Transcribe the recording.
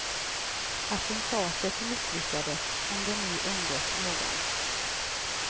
Attentatet misslyckades, om det nu undgått någon.